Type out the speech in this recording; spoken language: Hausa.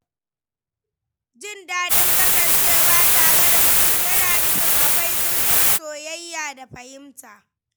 Jin daɗin kasancewa tare da mutum yana nufin akwai zurfin soyayya da fahimta.